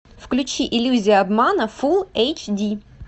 включи иллюзия обмана фул эйч ди